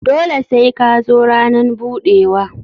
Dole sai ka zo ranan budewa.